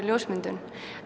ljósmyndun